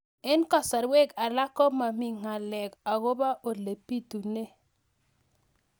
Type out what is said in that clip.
Eng' kasarwek alak ko mami ng'alek akopo ole pitunee